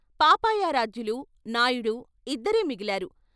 పాపయారాధ్యులూ, నాయుడూ ఇద్దరే మిగిలారు.